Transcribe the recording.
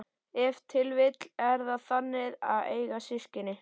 Ef til vill er það þannig að eiga systkin?